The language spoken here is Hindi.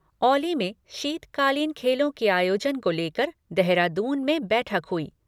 औली में शीतकालीन खेलों के आयोजन को लेकर देहरादून में बैठक हुई।